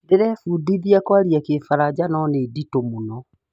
Ndĩrebundithia kwaria kĩfaranja no nĩ nditũ mũno